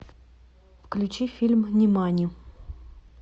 включи фильм нимани